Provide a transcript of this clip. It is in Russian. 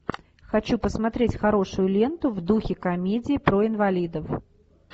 хочу посмотреть хорошую ленту в духе комедии про инвалидов